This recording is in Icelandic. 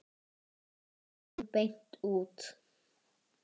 spyr hún beint út.